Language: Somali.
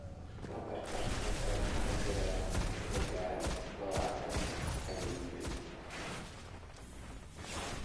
"Lambarkaas hadda waxaa la filayaa inuu gaaro lawatan ," ayuu yiri.